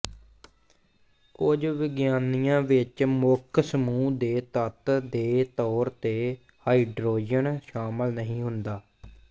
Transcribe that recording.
ਕੁਝ ਵਿਗਿਆਨੀਆਂ ਵਿੱਚ ਮੁੱਖ ਸਮੂਹ ਦੇ ਤੱਤ ਦੇ ਤੌਰ ਤੇ ਹਾਈਡ੍ਰੋਜਨ ਸ਼ਾਮਲ ਨਹੀਂ ਹੁੰਦਾ